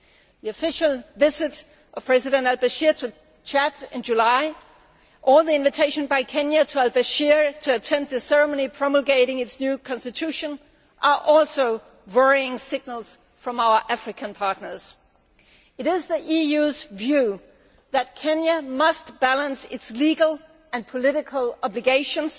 The official visit of President al Bashir to Chad in July, and Kenya's invitation to al Bashir to attend the ceremony promulgating its new constitution are also worrying signals from our African partners. It is the EU's view that Kenya must balance its legal and political obligations